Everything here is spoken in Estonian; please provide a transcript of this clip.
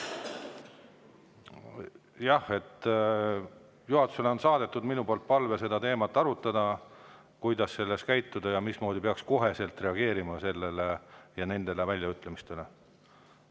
Jah, olen saatnud juhatusele palve seda teemat arutada, kuidas peaks sellises käituma ja mismoodi sellistele väljaütlemistele reageerima.